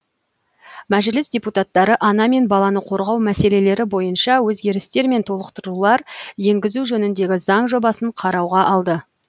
мәжіліс депутаттары ана мен баланы қорғау мәселелері бойынша өзгерістер мен толықтырулар енгізу жөніндегі заң жобасын қарауға алды